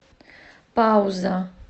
пауза